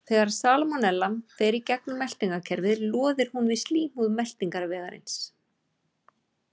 Þegar salmonellan fer í gegnum meltingarkerfið loðir hún við slímhúð meltingarvegarins.